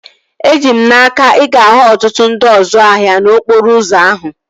Eji m n'aka, ị ga-ahụ ọtụtụ ndị ọzu ahịa n'okporo ụzọ ahụ